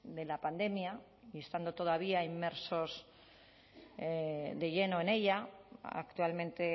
de la pandemia y estando todavía inmersos de lleno en ella actualmente